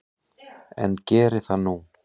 En geri það nú.